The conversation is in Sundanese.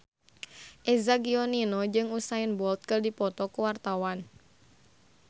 Eza Gionino jeung Usain Bolt keur dipoto ku wartawan